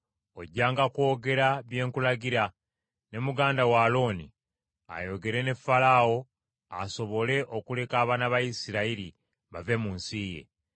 Ojjanga kwogera bye nkulagira, ne muganda wo Alooni ayogere ne Falaawo asobole okuleka abaana ba Isirayiri bave mu nsi ye.